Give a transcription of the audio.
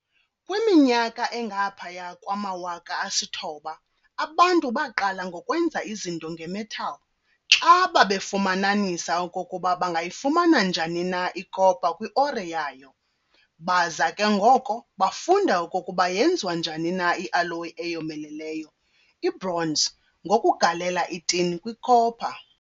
Kwiminyaka engaphaya kwama-9000 abantu baqala ngokwenza izinto nge-metal, xa babefumananisa okokuba bangayifumana njani na i-copper kwi-ore yayo. Baza ke ngoko bafunda okokuba yenziwa njani na ialloy eyomeleleyo, ibronze, ngokugalela i-tin kwi-copper.